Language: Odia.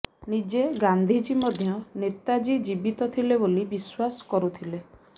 ନିଜେ ଗାନ୍ଧିଜୀ ମଧ୍ୟ ନେତାଜୀ ଜୀବିତ ଥିଲେ ବୋଲି ବିଶ୍ୱାସ କରୁଥିଲେ